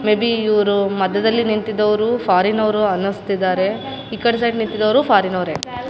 May be ಇವ್ರು ಮದ್ಯದಲ್ಲಿ ನಿಂತಿದ್ದೋರು ಫಾರಿನ್‌ ಅವ್ರು ಅನ್ನಿಸ್ತಿದ್ದಾರೆ ಈ ಕಡೆ ಸೈಡ್ ನಿಂತಿದ್ದವ್ರೂ ಫಾರಿನ್‌ ಅವ್ರೇ .